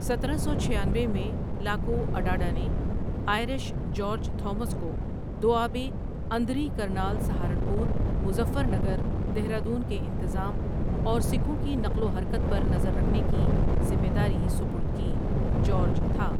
سترہ سو چھیانوے میں لاکواڈاڈانے آئرش جارج تھا مس کو دوآبے اندری کرنال سہارنپور، مظفرنگر، دہرہ دون کے انتظام اور سکھوں کی نقل وحرکت پر نظر رکھنے کی ذمہ داری سپرد کی جارج تھا ۔